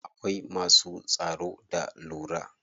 Akwai masu tsaro da lura.